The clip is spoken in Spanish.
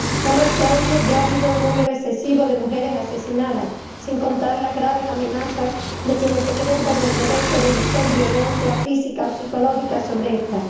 Solo este año ya ha habido un número excesivo de mujeres asesinadas, sin contar las graves amenazas de quienes se creen con el derecho de ejercer violencia física o psicológica sobre ellas.